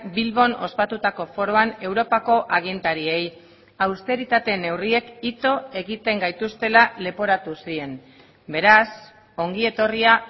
bilbon ospatutako foroan europako agintariei austeritate neurriek ito egiten gaituztela leporatu zien beraz ongietorria